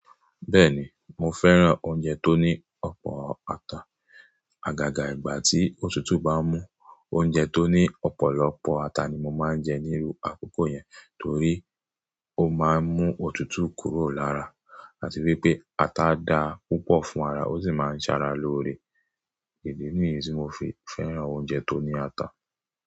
Bẹ́ẹ̀ni mo fẹ́ràn oúnjẹ tó ní ọ̀pọ̀ ata. Àgàgà ìgbà tí òtútù bá mú, oúnjẹ tó ní ọ̀pọ̀lọpọ̀ ata ni mo máa ń jẹ níru àkókò yẹn torí ó máa ń mú òtútù kúrò lára àti wípé ata dára púpọ̀ fún ara, ó sì máa ń ṣara lóore. Gẹ̀dẹ̀ ni ìrínsẹ̀ mo fi fẹ́ràn oúnjẹ tó ní ata.